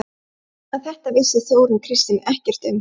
En þetta vissi Þórunn Kristín ekkert um.